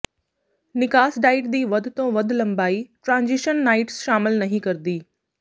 ਨਿਕਾਸ ਡਾਈਟ ਦੀ ਵੱਧ ਤੋਂ ਵੱਧ ਲੰਬਾਈ ਟ੍ਰਾਂਜਿਸ਼ਨ ਨਾਈਟ ਸ਼ਾਮਲ ਨਹੀਂ ਕਰਦੀ